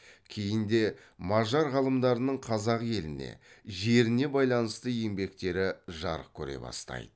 кейін де мажар ғалымдарының қазақ еліне жеріне байланысты еңбектері жарық көре бастайды